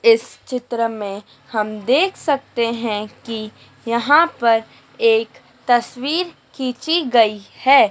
इस चित्र में हम देख सकते हैं कि यहां पर एक तस्वीर खींची गई है।